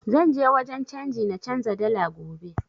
Zan je wajen canji na canza dala gobe